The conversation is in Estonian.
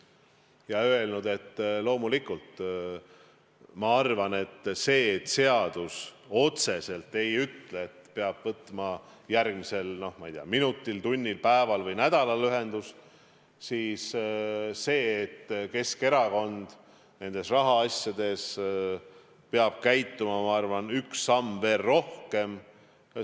Ja olen öelnud, et loomulikult ma arvan, et kuigi seadus otseselt ei ütle, et peab võtma järgmisel, ma ei tea, minutil, tunnil, päeval või nädalal ühendust, siis Keskerakond peab nendes rahaasjades käituma nii, et on astutud üks samm veel rohkem.